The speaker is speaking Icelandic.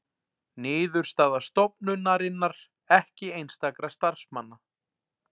Niðurstaða stofnunarinnar ekki einstakra starfsmanna